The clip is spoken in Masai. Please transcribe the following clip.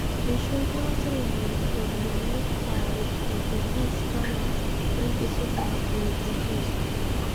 eishorutua serkali iropiyiani aaret refugees farmers wenkisuma e refugees.